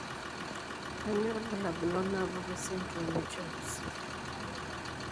Kainyio irbulabul onaapuku esindirom eCHOPS?